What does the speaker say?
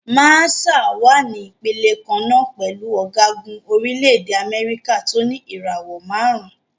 Màṣáà wà ní ìpele kan náà pẹ̀lú ọ̀gágun orílẹ̀-èdè Amẹ́ríkà tó ní ìràwò márùn-ún.